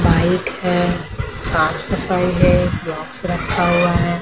Bike है साफ सफाई है बॉक्स रखा हुआ है ।